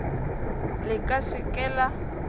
le ka se ke la